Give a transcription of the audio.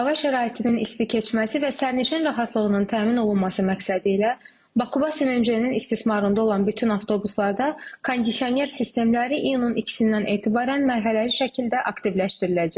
Hava şəraitinin isti keçməsi və sərnişin rahatlığının təmin olunması məqsədilə Bakıbus sərnişindaşınmanın istismarında olan bütün avtobuslarda kondisioner sistemləri iyunun 2-dən etibarən mərhələli şəkildə aktivləşdiriləcək.